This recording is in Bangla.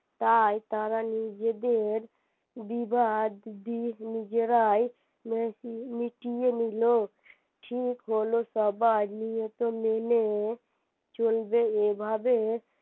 তাই তারা নিজেদের বিবাধ নিজেরাই মিটিয়ে নিলো ঠিক হলো সবাই নিয়ত মেনে চলবে এভাবে